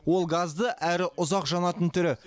ол газды әрі ұзақ жанатын түрі